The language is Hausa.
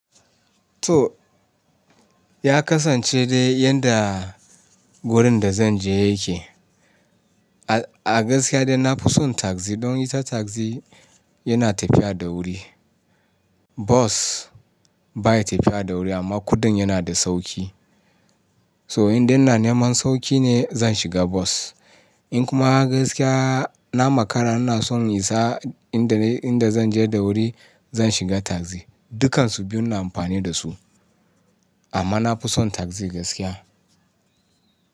To ya kasance dai yadda wurin da zan je yake. A gaskiya dai na fi son taxi. Don ita taxi yana tafiya da wuri. Bus baya tafiya da wuri amma kuɗin yana da sauƙi. So in dai na neman sauƙi ne zan shiga bus. In kuma gaskiya na makara ina son isa inda zan je da wuri, zan shiga tagzi. Dukansu biyun na amfani da su amma na fi son tagzi gaskiya.